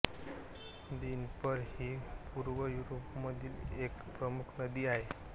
Dnieper ही पूर्व युरोपामधील एक प्रमुख नदी आहे